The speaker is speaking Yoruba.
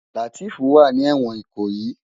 Lateef wá ni èwòn Ikoyi